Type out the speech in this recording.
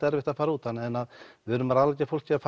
erfitt að fara út þannig við erum að ráðleggja fólki að